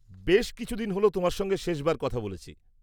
বেশ কিছুদিন হল তোমার সঙ্গে শেষবার কথা বলেছি।